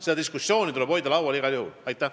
Seda diskussiooni tuleb igal juhul laual hoida.